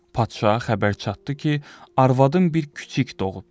Padşaha xəbər çatdı ki, arvadın bir küçük doğubdur.